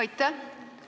Aitäh!